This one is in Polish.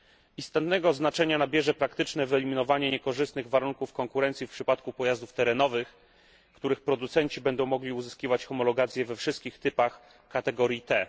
Istotnego znaczenia nabierze praktyczne wyeliminowanie niekorzystnych warunków konkurencji w przypadku pojazdów terenowych, których producenci będą mogli uzyskiwać homologację we wszystkich typach kategorii T.